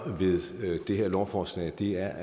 med det her lovforslag er